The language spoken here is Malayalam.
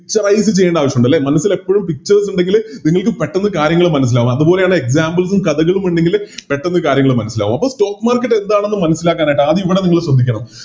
Picturize ചെയ്യേണ്ട ആവശ്യമുണ്ട് അല്ലെ മനസില്ലെപ്പോഴും Pictures ഇണ്ടങ്കില് നിങ്ങൾക്ക് പെട്ടന്ന് കാര്യങ്ങള് മനസ്സിലാവും അതുപോലെയാണ് Examples ഉം കഥകളുമുണ്ടെങ്കില് പെട്ടന്ന് പെട്ടന്ന് കാര്യങ്ങള് മനസ്സിലാകും അപ്പൊ Stock market എന്താണെന്ന് മനസ്സിലാക്കാനായിട്ട് ആദ്യം ഇവിടെ നിങ്ങള് ശ്രദ്ധിക്കണം